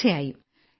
തീർച്ചയായും